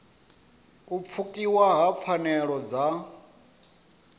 u pfukiwa ha pfanelo dza